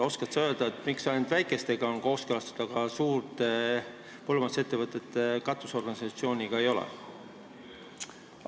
Oskad sa öelda, miks ainult väikestega on kooskõlastatud, aga suurte põllumajandusettevõtete katusorganisatsiooniga ei ole?